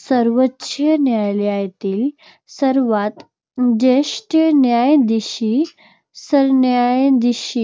सर्वोच्च न्यायालयातील सर्वात ज्येष्ठ न्यायाधीश सरन्यायाधीश